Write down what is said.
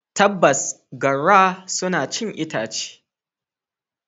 Tabbas, garra suna cin itace.